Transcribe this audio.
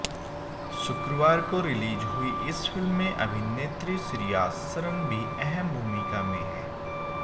शुक्रवार को रिलीज हुई इस फिल्म में अभिनेत्री श्रिया सरन भी अहम भूमिका में है